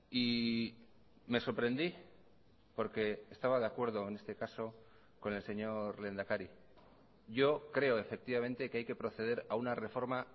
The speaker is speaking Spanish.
y me sorprendí porque estaba de acuerdo en este caso con el señor lehendakari yo creo efectivamente que hay que proceder a una reforma